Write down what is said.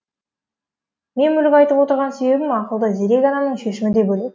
мен мүлік айтып отырған себебім ақылды зерек адамның шешімі де бөлек